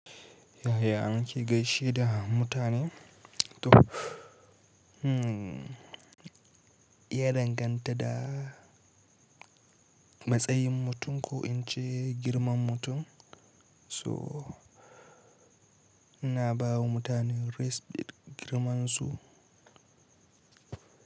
Yaya anki gaishe da mutane? To, ya danganta da matsayin mutum ko in ce girman mutum. So ina bawa mutane respect girman su.